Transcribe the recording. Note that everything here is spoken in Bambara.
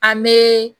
An bɛ